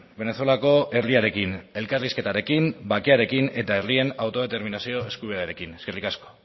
venezuelako herriarekin elkarrizketarekin bakearen eta herrien autodeterminazio eskubidearekin eskerrik asko